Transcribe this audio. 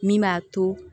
Min b'a to